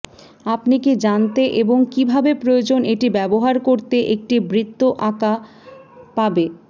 আপনি কি জানতে এবং কিভাবে প্রয়োজন এটি ব্যবহার করতে একটি বৃত্ত আঁকা পাবে